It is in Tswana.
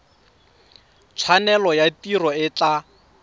tshwanelo ya tiro e tla